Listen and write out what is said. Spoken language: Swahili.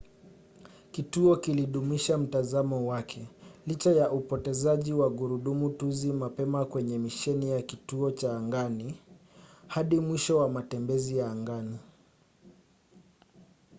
kituo kilidumisha mtazamo wake licha ya upotezaji wa gurudumu tuzi mapema kwenye misheni ya kituo cha angani hadi mwisho wa matembezi ya angani